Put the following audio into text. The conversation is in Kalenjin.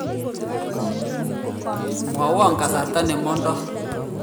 mwaiwo kasarta nemandoi